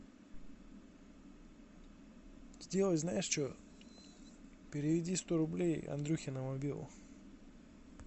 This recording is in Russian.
сделай знаешь че переведи сто рублей андрюхе на мобилу